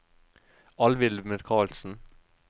Alvhild Michaelsen